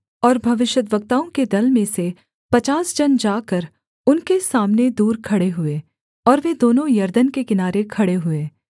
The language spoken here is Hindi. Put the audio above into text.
और भविष्यद्वक्ताओं के दल में से पचास जन जाकर उनके सामने दूर खड़े हुए और वे दोनों यरदन के किनारे खड़े हुए